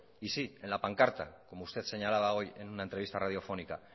y sí en la pancarta como usted señalaba hoy en una entrevista radiofónica